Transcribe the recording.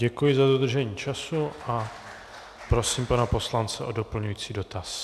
Děkuji za dodržení času a prosím pana poslance o doplňující dotaz.